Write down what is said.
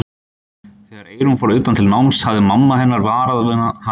Þegar Eyrún fór utan til náms hafði mamma hennar varað hana við.